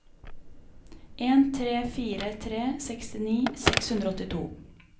en tre fire tre sekstini seks hundre og åttito